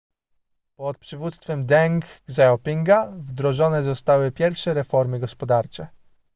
pod przywództwem deng xiaopinga wdrożone zostały pierwsze reformy gospodarcze